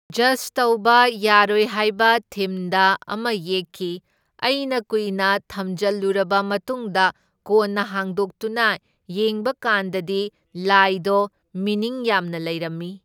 Just ꯇꯧꯕ ꯌꯥꯔꯣꯏꯍꯥꯢꯕ ꯊꯤꯝꯗ ꯑꯃ ꯌꯦꯛꯈꯤ, ꯑꯩꯅ ꯀꯨꯏꯅ ꯊꯝꯖꯜꯂꯨꯔꯕ ꯃꯇꯨꯡꯗ ꯀꯣꯟꯅ ꯍꯥꯡꯗꯣꯛꯇꯨꯅ ꯌꯦꯡꯕꯀꯥꯟꯗꯗꯤ ꯂꯥꯏꯗꯣ ꯃꯤꯅꯤꯡ ꯌꯥꯝꯅ ꯂꯩꯔꯝꯃꯤ꯫